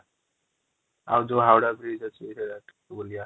ଆଉ ଯୋଉ ହାଓଡ଼ା bridge ଅଛି ସେ ଜାଗା ଟା ବଉଳିବା |